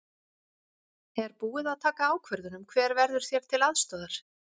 Er búið að taka ákvörðun um hver verður þér til aðstoðar?